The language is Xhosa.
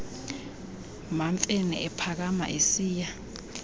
mamfene ephakama esiya